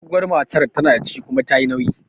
Doguwar matar tana da ciki kuma tayi nauyi